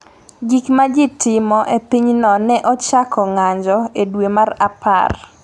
Gik ma ji timo e pinyno ne ochako ng’anjo e dwe mar apar.